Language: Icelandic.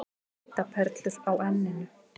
Svitaperlur á enninu.